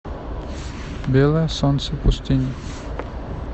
белое солнце пустыни